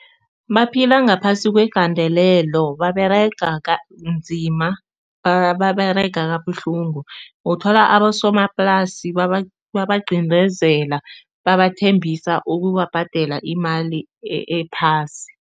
Baphila ngaphasi kwegandelelo, baberega kanzima, baberega kabuhlungu. Uthola abosomaplasi babaqindezela babathembisa ukubhadela imali ephasi.